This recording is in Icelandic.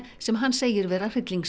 sem hann segir vera